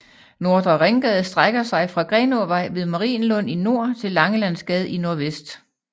Nordre Ringgade strækker sig fra Grenåvej ved Marienlund i nord til Langelandsgade i nordvest